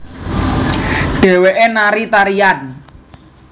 Dhéwéké nari tarian